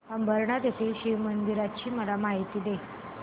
अंबरनाथ येथील शिवमंदिराची मला माहिती दे